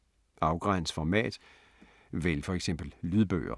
Afgræns format: vælg for eksempel lydbøger